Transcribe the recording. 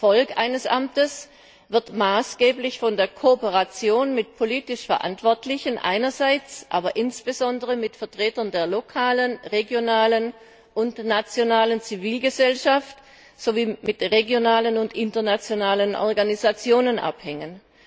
Der Erfolg des Amtes wird maßgeblich von der Kooperation mit politisch Verantwortlichen, aber insbesondere auch mit Vertretern der lokalen, regionalen und nationalen Zivilgesellschaft sowie mit regionalen und internationalen Organisationen abhängen.